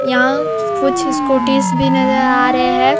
यहाँ कुछ स्कूटीस भी नजर आ रहै हैं।